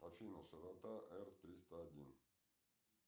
афина широта р триста один